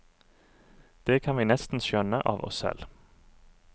Det kan vi nesten skjønne av oss selv.